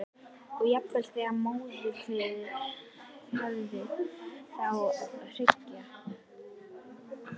Og jafnvel þegar í móðurkviði- eftir á að hyggja.